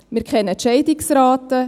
Wir kennen die Scheidungsrate.